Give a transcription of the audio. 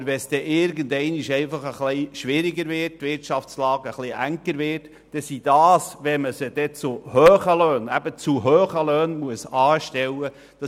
Aber wenn es irgendeinmal etwas schwieriger und die Wirtschaftslage enger wird, sind es dieselben, die gleich wieder weg sind, wenn man sie zu hohen Löhnen anstellen muss.